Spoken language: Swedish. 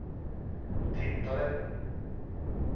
tittade